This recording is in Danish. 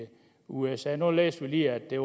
usa nu læste vi lige at der